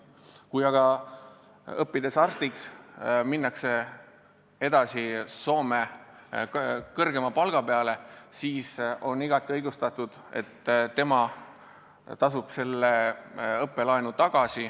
Kui aga arstiks õppinuna minnakse edasi Soome kõrgema palga peale, siis on igati õigustatud, et õppelaenu ei kustutata.